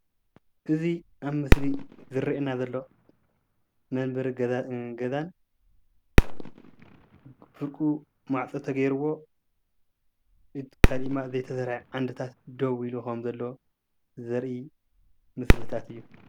እዚ ኣብ ምስሊ ዝረአየና ዘሎ መንበሪ ገዛ ገዛን ፍርቁ ማዕፆ ተገይርዎ ካሊእ ድማ ዘይተሰርሐ ዓንድታት ደው ኢሉ ከም ዘሎ ዘርኢ ምስሊታት እዩ፡፡